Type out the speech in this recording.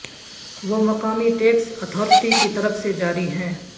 وہ مقامی tax authority کی طرف سے جاری ہیں